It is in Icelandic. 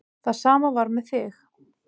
Það sama var með þig.